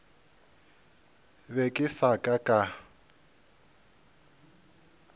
be ke se ka ka